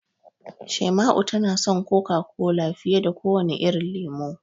Shaima'u tana son Coca-Cola fiye da kowane irin lemo.